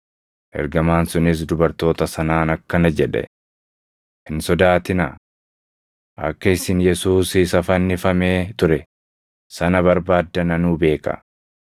Ergamaan sunis dubartoota sanaan akkana jedhe; “Hin sodaatinaa! Akka isin Yesuus isa fannifamee ture sana barbaaddan anuu beeka.